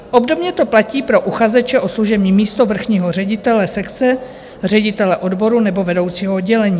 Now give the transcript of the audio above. Obdobně to platí pro uchazeče o služební místo vrchního ředitele sekce, ředitele odboru nebo vedoucího oddělení.